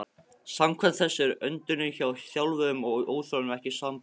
Samkvæmt þessu er öndunin hjá þjálfuðum og óþjálfuðum ekki sambærileg.